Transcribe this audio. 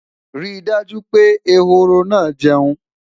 rí dájú pé ehoro na jeun